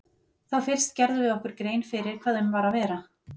Þá fyrst gerðum við okkur grein fyrir hvað um var að vera.